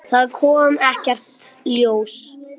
Það kom ekkert ljós.